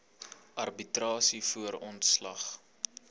arbitrasie voor ontslag